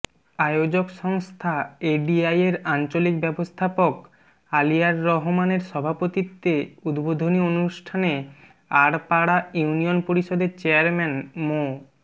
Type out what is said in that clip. আয়োজক সংস্থা এডিআইয়ের আঞ্চলিক ব্যবস্থাপক আলিয়ার রহমানের সভাপতিত্বে উদ্বোধনী অনুষ্ঠানে আড়পাড়া ইউনিয়ন পরিষদের চেয়ারম্যান মো